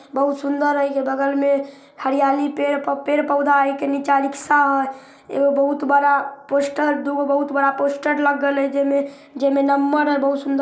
बहुत सुन्दर ए के बगल मे हरियाली पेड़ पेड़-पौधा ए के नीचा रिक्शा हेय एगो बहुत बड़ा पोस्टर दुगो बहुत बड़ा पोस्टर लगल हेय जेमे नंबर हई बहुत सुन्दर --